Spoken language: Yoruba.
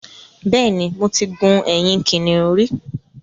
Bẹ́ẹ̀ ni, mo ti gun ẹ̀yìn kìnnìún rí